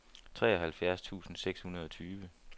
treoghalvfjerds tusind seks hundrede og tyve